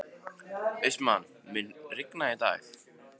Austmann, mun rigna í dag?